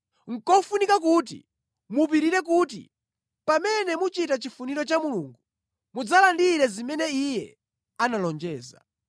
Nʼkofunika kuti mupirire kuti pamene muchita chifuniro cha Mulungu mudzalandire zimene Iye analonjeza.